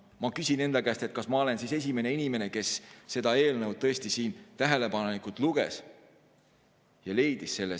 Ma küsin enda käest, kas ma olen siis tõesti esimene inimene, kes seda eelnõu tähelepanelikult luges ja leidis selle.